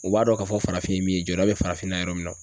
U b'a dɔn k'a fɔ farafin ye min ye jɔda bɛ farafinna yɔrɔ min na.